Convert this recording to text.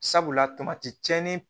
Sabula tamati cɛnni